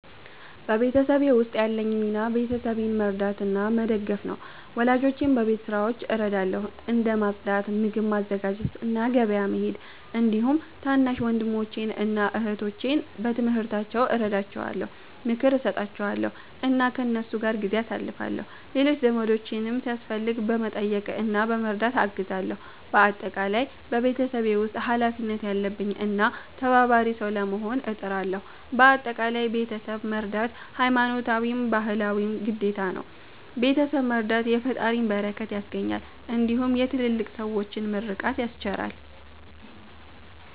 በቤተሰቤ ውስጥ ያለኝ ሚና ቤተሰቤን መርዳትና መደገፍ ነው። ወላጆቼን በቤት ስራዎች እረዳለሁ፣ እንደ ማጽዳት፣ ምግብ ማዘጋጀት እና ገበያ መሄድ። እንዲሁም ታናሽ ወንድሞቼን እና እህቶቼን በትምህርታቸው እረዳቸዋለሁ፣ ምክር እሰጣቸዋለሁ እና ከእነሱ ጋር ጊዜ አሳልፋለሁ። ሌሎች ዘመዶቼንም ሲያስፈልግ በመጠየቅ እና በመርዳት አግዛለሁ። በአጠቃላይ በቤተሰቤ ውስጥ ኃላፊነት ያለብኝ እና ተባባሪ ሰው ለመሆን እጥራለሁ። በአጠቃላይ ቤተሰብ መርዳት ሀይማኖታዊም ባህላዊም ግዴታ ነው። ቤተሰብ መረዳት የፈጣሪን በረከት ያስገኛል እንዲሁም የትልልቅ ሠዎችን ምርቃት ያስቸራል።